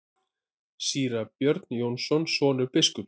Síra Björn Jónsson, sonur biskups.